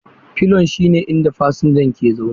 Filon shine inda fasinja ke zaune.